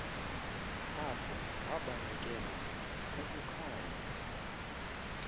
apho wabanekelwa kukukhanya